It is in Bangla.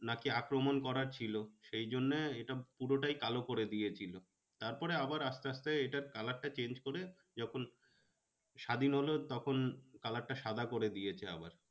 নাকি আক্রমণ করার ছিল সেই জন্যে এটা পুরটাই কালো করে দিয়েছিলো। তারপরে আবার আস্তে আস্তে এটার color টা change করে যখন স্বাধীন হলো তখন color টা সাদা করে দিয়েছে আবার।